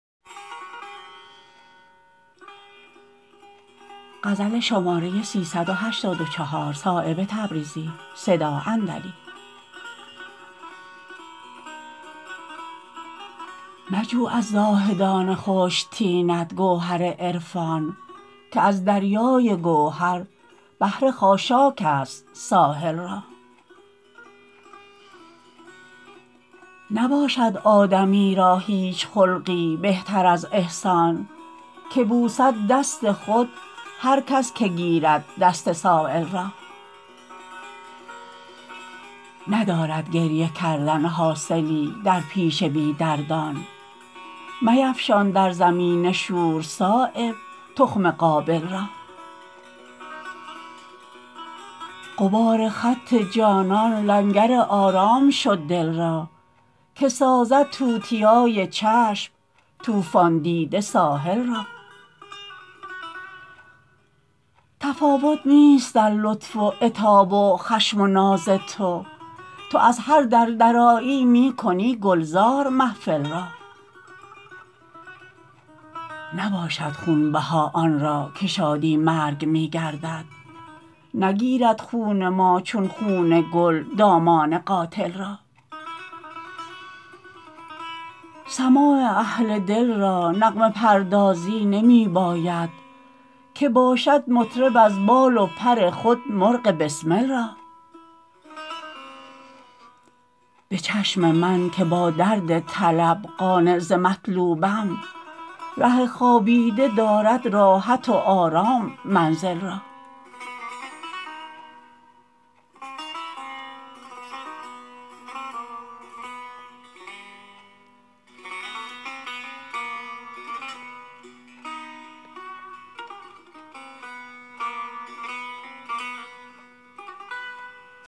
مجو از زاهدان خشک طینت گوهر عرفان که از دریای گوهر بهره خاشاک است ساحل را نباشد آدمی را هیچ خلقی بهتر از احسان که بوسد دست خود هر کس که گیرد دست سایل را ندارد گریه کردن حاصلی در پیش بی دردان میفشان در زمین شور صایب تخم قابل را غبار خط جانان لنگر آرام شد دل را که سازد توتیای چشم طوفان دیده ساحل را تفاوت نیست در لطف و عتاب و خشم و ناز تو تو از هر در درآیی می کنی گلزار محفل را نباشد خونبها آن را که شادی مرگ می گردد نگیرد خون ما چون خون گل دامان قاتل را سماع اهل دل را نغمه پردازی نمی باید که باشد مطرب از بال و پر خود مرغ بسمل را به چشم من که با درد طلب قانع ز مطلوبم ره خوابیده دارد راحت و آرام منزل را